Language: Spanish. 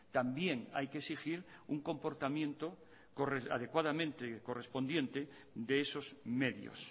también hay que exigir un comportamiento adecuadamente correspondiente de esos medios